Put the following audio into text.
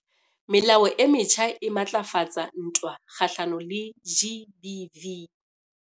Melao e metjha e matlafatsa ntwa kgahlano le GBV